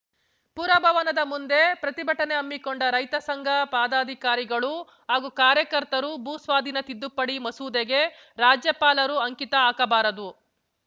ಪುರಭವನದ ಮುಂದೆ ಪ್ರತಿಭಟನೆ ಹಮ್ಮಿಕೊಂಡ ರೈತಸಂಘ ಪಾದಾಧಿಕಾರಿಗಳು ಹಾಗೂ ಕಾರ್ಯಕರ್ತರು ಭೂಸ್ವಾಧೀನ ತಿದ್ದುಪಡಿ ಮಸೂದೆಗೆ ರಾಜ್ಯಪಾಲರು ಅಂಕಿತ ಹಾಕಬಾರದು